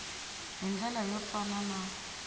hi ndlela yo fana na